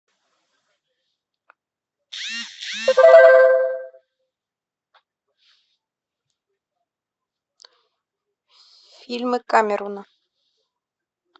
фильмы камерона